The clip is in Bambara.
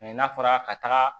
n'a fɔra ka taga